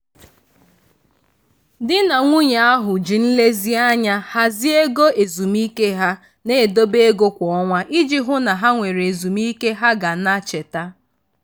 di na nwunye ahụ ji nlezianya hazie ego ezumike ha na-edebe ego kwa ọnwa iji hụ na ha nwere ezumike ha ga na-cheta.